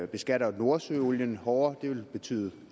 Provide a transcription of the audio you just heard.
beskatter nordsøolien hårdere det ville betyde